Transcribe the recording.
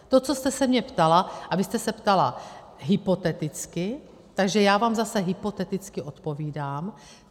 To, co jste se mě ptala, a vy jste se ptala hypoteticky, tak já vám zase hypoteticky odpovídám.